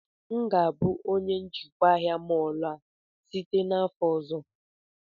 M ga-abụ onye njikwa ahịa mọọlụ a site n'afọ ọzọ